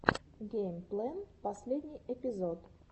гэймплэн последний эпизод